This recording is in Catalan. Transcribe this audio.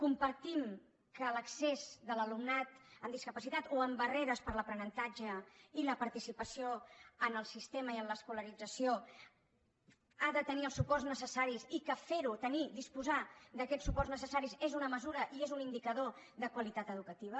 compartim que l’accés de l’alumnat amb discapacitat o amb barreres per a l’aprenentatge i la participació en el sistema i en l’escolarització ha de tenir els suports necessaris i que ferho tenir disposar d’aquests suports necessaris és una mesura i és un indicador de qualitat educativa